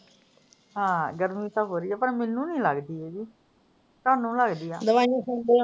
ਹਾਂ, ਗਰਮੀ ਤਾਂ ਬੜੀ ਆ, ਪਰ ਮੈਨੂੰ ਨੀ ਲਗਦੀ ਹੈਗੀ। ਤੁਹਾਨੂੰ ਲਗਦੀ ਆ। ਦਵਾਈਆਂ ਖਾਂਦੀ ਆ ਨਾ ਮੈਂ।